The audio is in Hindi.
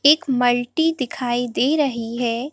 एक मल्टी दिखाई दे रही है।